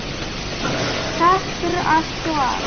Takk fyrir allt og allt.